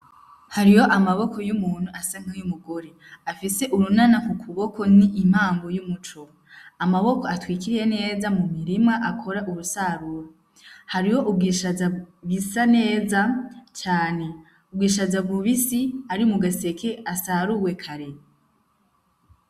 Hariho amaboko y'umuntu asa nkayo umugore afise urunana ku kuboko n'impamo y'umuco, Amaboko atwikiriye neza mu murima akora ubusarura ,Hariho ubwishaza busa neza cane ,Ubwishaza bubisi ari mu gaseke asaruwe kare.